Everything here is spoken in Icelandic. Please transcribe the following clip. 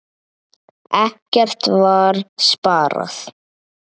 Ekkert var sparað.